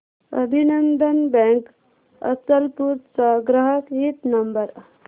अभिनंदन बँक अचलपूर चा ग्राहक हित नंबर